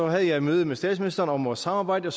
jeg et møde med statsministeren om vores samarbejde og